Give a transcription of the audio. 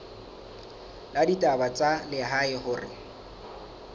la ditaba tsa lehae hore